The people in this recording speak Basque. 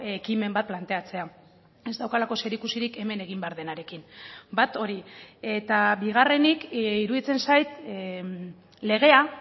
ekimen bat planteatzea ez daukalako zerikusirik hemen egin behar denarekin bat hori eta bigarrenik iruditzen zait legea